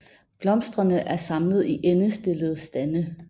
Blomsterne er samlet i endestillede stande